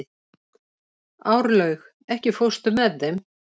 Árlaug, ekki fórstu með þeim?